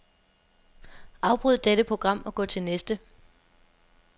Afbryd dette program og gå til næste.